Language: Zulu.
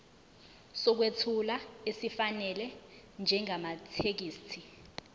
sokwethula esifanele njengamathekisthi